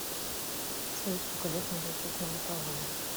салют сколько лет надо учиться на бакалавра